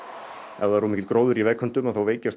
ef það er of mikill gróður í vegköntum veikjast